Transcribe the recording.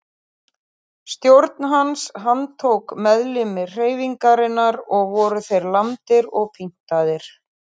Stjórn hans handtók meðlimi hreyfingarinnar og voru þeir lamdir og pyntaðir.